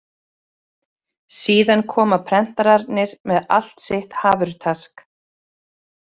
Síðan koma prentararnir með allt sitt hafurtask.